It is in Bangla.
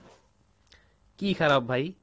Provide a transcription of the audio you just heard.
কী খারাপ ভাই?